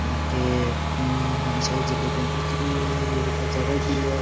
ईके मम बड़ी सारी जलेबिया दिख री है अभी अभी ताज़ा काड़ी है।